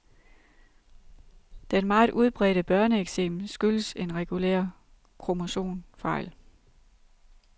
Den meget udbredte børneeksem skyldesen regulær kromosomfejl.